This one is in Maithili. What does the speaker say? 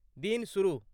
दिन सुरुह